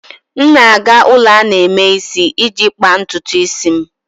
M na-aga ulo ana-eme isi iji kpaa ntutu isi m.